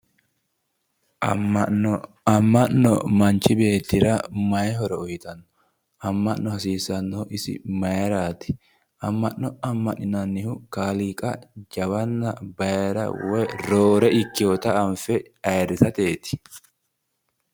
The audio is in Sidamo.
Amma'no amma'no manchi beettira mayi horo uyiitanno? Amma'no hasiisannohu isi mayiraati? Amma'no amma'ninannihu kaaliiqa jawanna woy roore ikkinota anfe ayiirrisateeti.